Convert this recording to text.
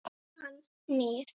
Hann nýr.